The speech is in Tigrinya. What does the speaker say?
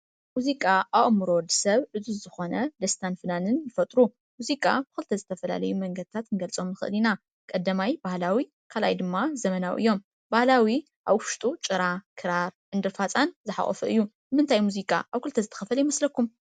ሙዚቃ ኣብ ኣእምሮ ወዲ ሰብ ዕዙዝ ዝኾነ ደስታን ፍናንን ይፈጥሩ፡፡ ሙዚቃ ብኽልተ ዝተፈላለየ መንገድታት ክንገልፆም ንኽእል ኢና፡፡ ቀዳማይ ባህላዊ ካልኣይ ድማ ዘመናዊ እዮም፡፡ ባህላዊ ኣብ ውሽጡጭራ ፣ክራር፣ ዕንድር ፋፃን ዝሓቖፈ እዩ፡፡ ንምንታይ እዩ ሙዚቃ ኣብ ክልተ ዝተኸፈለ ይመስለኩም?